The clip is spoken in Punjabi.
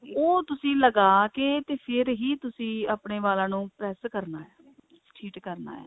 ਉਹ ਤੁਸੀਂ ਲਗਾ ਕੇ ਫੇਰ ਹੀ ਤੁਸੀਂ ਆਪਨੇ ਵਾਲਾਂ ਨੂੰ press ਕਰਨਾ treat ਕਰਨਾ